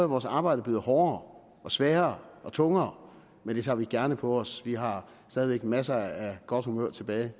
vores arbejde blevet hårdere og sværere og tungere men det tager vi gerne på os vi har stadig væk masser af godt humør tilbage